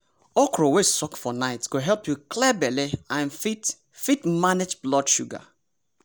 okra wey soak for night go help you clear belle and fit fit manage blood sugar.